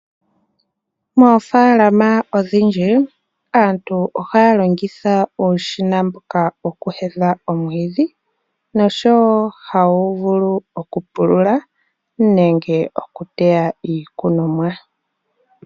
Moofaalama odhindji aantu ohaya longitha uushina mboka woku heya omwiidhi oshowo hawu vulu okupulula nenge okuteya iikunomwa.